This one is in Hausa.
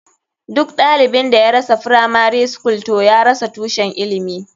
Duk ɗalibin da ya rasa firamari skul toh ya rasa tushen ilimi.